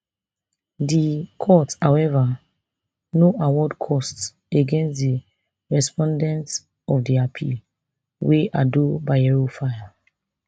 di court however no award costs against di respondents of di appeal wey ado bayero file